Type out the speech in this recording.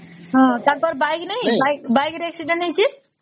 ହଁ ତାଙ୍କର bike ନାଇଁ bike ରେ accident ହେଇଚି